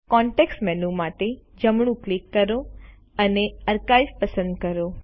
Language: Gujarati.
કોન્તેક્ક્ષ મેનૂ માટે જમણું ક્લિક કરો અને આર્કાઇવ પસંદ કરો